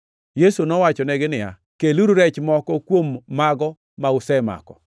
Yesu nowachonegi niya, “Keluru rech moko kuom mago ma usemako.”